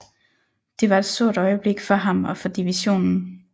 Det var et stort øjeblik for ham og for divisionen